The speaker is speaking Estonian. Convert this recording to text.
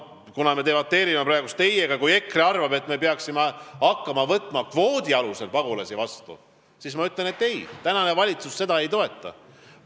Kuna me debateerime praegu teiega, siis ütlen, et kui EKRE arvab, et me peaksime hakkama kvoodi alusel pagulasi vastu võtma, siis minu vastus on ei, praegune valitsus seda ei toeta.